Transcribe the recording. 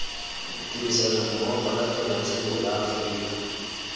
tirisanommogo la temothuo la aforika